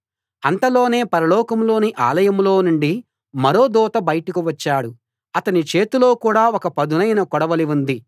అంతలోనే పరలోకంలోని ఆలయంలో నుండి మరో దూత బయటకు వచ్చాడు అతని చేతిలో కూడా ఒక పదునైన కొడవలి ఉంది